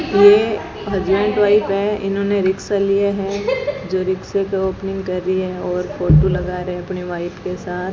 ये husband wife है इन्होंने रिक्शा लिया है जो रिक्शे को ओपनिंग कर रही है और फोटो लगा रहे हैं अपनी वाइफ के साथ।